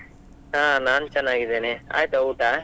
ಹಾ ನಾನ್ ಚೆನ್ನಾಗಿದ್ದೇನೆ, ಆಯ್ತಾ ಊಟ?